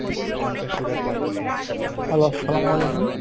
hello আসসালাম অলাইকুম।